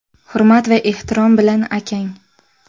Hurmat va ehtirom bilan akang.